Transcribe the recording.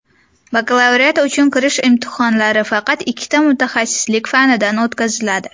Bakalavriat uchun kirish imtihonlari faqat ikkita mutaxassislik fanidan o‘tkaziladi.